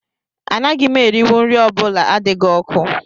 Anaghị m erinwu nri ọ bụla adịghị ọkụ